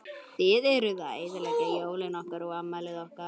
Þið eruð að eyðileggja jólin okkar og afmælið okkar.